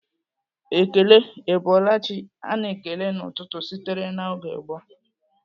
Ekele 'Ị bọọla chi' a na-ekele n'ụtụtụ sitere na oge gboo.